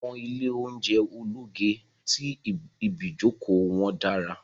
Awọn ile ounjẹ ologe to ibijoko wọn daradara